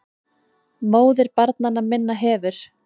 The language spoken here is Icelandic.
MÓÐIR BARNANNA MINNA HEFUR